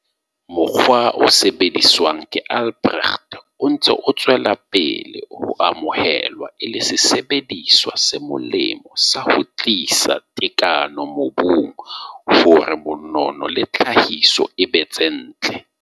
Mokgwa o sebediswang ke Albrecht o ntse o tswela pele ho amohelwa e le sesebediswa se molemo sa ho tlisa tekano mobung hore monono le tlhahiso e be tse ntle.